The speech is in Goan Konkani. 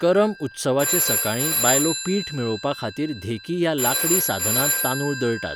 करम उत्सवाचे सकाळीं बायलो पीठ मेळोवपा खातीर धेकी ह्या लांकडी साधनांत तांदूळ दळटात.